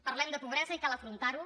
parlem de pobresa i cal afrontar ho